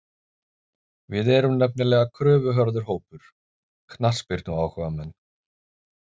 Við erum nefnilega kröfuharður hópur, knattspyrnuáhugamenn.